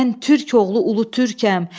Mən türk oğlu ulu türkəm.